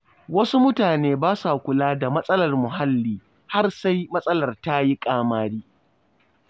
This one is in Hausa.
Wasu mutane ba sa kula da matsalar muhalli har sai matsalar ta yi ƙamari.